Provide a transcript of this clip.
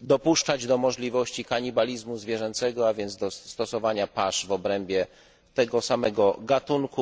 dopuszczać do możliwości kanibalizmu zwierzęcego, a więc do stosowania pasz w obrębie tego samego gatunku.